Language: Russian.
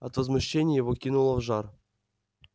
от возмущения его кинуло в жар